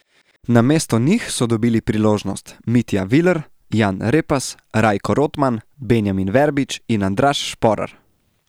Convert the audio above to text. Namesto njih so dobili priložnost Mitja Viler, Jan Repas, Rajko Rotman, Benjamin Verbič in Andraž Šporar.